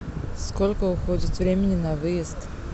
сколько уходит времени на выезд